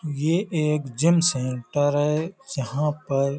ये एक gym centre है यहाँ पर --